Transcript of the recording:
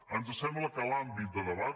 ens sembla que l’àmbit de debat